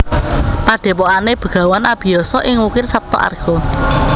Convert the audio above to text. Padhepokane Begawan Abiyasa ing Wukir Saptaarga